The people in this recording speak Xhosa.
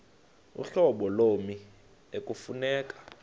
uhlobo lommi ekufuneka